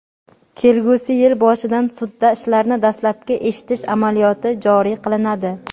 kelgusi yil boshidan sudda ishlarni dastlabki eshitish amaliyoti joriy qilinadi.